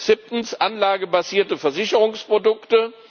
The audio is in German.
Siebtens, anlagebasierte Versicherungsprodukte.